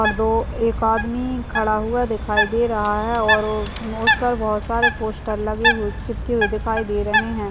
और दो एक आदमी खड़ा हुआ दिखाई दे रहा है और उस पर बहुत सारे पोस्टर लगे हुए चिपके हुए दिखाई दे रहे हैं।